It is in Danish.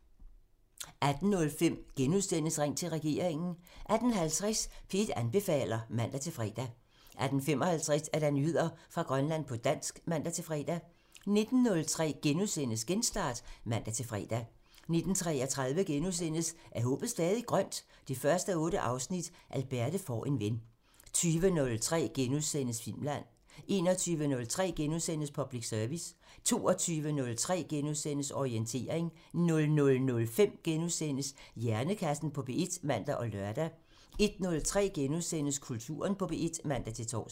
18:05: Ring til regeringen *(man) 18:50: P1 anbefaler (man-fre) 18:55: Nyheder fra Grønland på dansk (man-fre) 19:03: Genstart *(man-fre) 19:33: Er håbet stadig grønt? 1:8 – Alberte får en ven * 20:03: Filmland *(man) 21:03: Public Service *(man) 22:03: Orientering *(man-fre) 00:05: Hjernekassen på P1 *(man og lør) 01:03: Kulturen på P1 *(man-tor)